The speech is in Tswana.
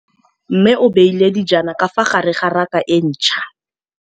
Mmê o beile dijana ka fa gare ga raka e ntšha.